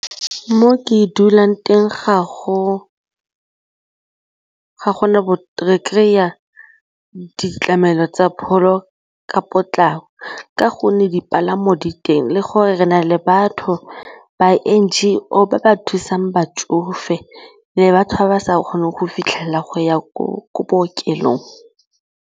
Mo ke dulang teng re kry a ditlamelo tsa pholo ka potlako ka gonne dipalamo di teng le gore re na le batho ba N_G_O ba ba thusang batsofe le batho ba ba sa kgoneng go fitlhelela go ya ko bookelong.